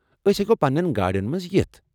أسۍ ہٮ۪کو پنٛنٮ۪ن گاڑٮ۪ن منٛز یتھ؟